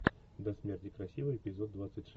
до смерти красива эпизод двадцать шесть